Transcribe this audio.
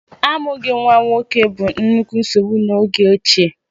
Amụghị nwa nwoke bụ nnukwu nsogbu n'oge ochie.